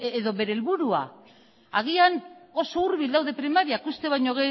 edo bere helburua agian oso hurbil daude primariak uste baino